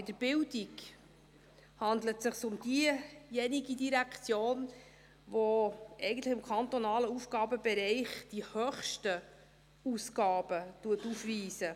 Bei der Bildung handelt es sich um diejenige Direktion, die im kantonalen Aufgabenbereich die höchsten Ausgaben aufweist.